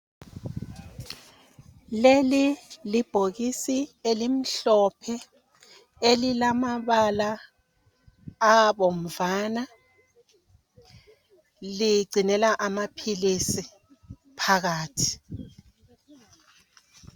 Leli libhokisi elimhlophe elilamabala abomvana ligcinela amaphilisi phakathi.